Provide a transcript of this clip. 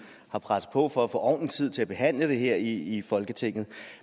har presset på for at få ordentlig tid til at behandle det her i folketinget